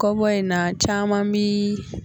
Kɔbɔ in na caman bi